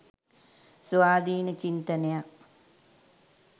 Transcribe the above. ස්වාධීන චින්තනයක්.